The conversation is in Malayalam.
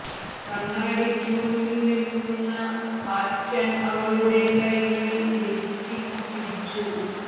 കണ്ണാടിക്ക് മുന്നിൽ നിൽക്കുന്ന ഹാറ്റൺ അവളുടെ കൈകളിൽ ലിപ്സ്റ്റിക്ക് പിടിച്ചു